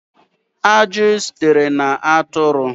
Ajị sitere na atụrụ